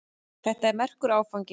Þetta er merkur áfangi.